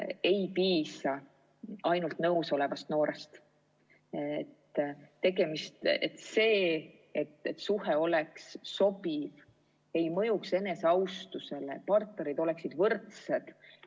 Ei piisa ainult nõus olevast noorest, et suhe oleks sobiv, ei mõjutaks eneseaustust, et partnerid oleksid võrdsed.